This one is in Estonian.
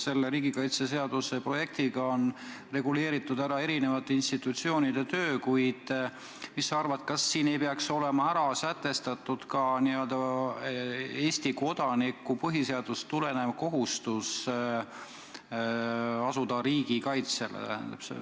Selles riigikaitseseaduse eelnõus on reguleeritud erinevate institutsioonide töö, kuid mis sa arvad, kas siin ei peaks olema sätestatud ka Eesti kodaniku põhiseadusest tulenev kohustus asuda riiki kaitsma?